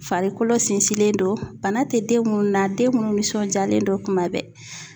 Farikolo sinsinlen don bana tɛ den munnu na den munnu nisɔndiyalen don kuma bɛɛ.